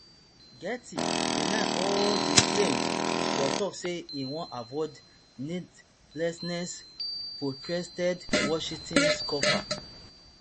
gaetz deny all di claims but tok say im wan avoid needlessly protracted washington scuffle